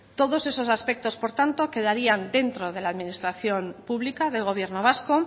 todos esos aspectos por tanto quedarían dentro de la administración pública del gobierno vasco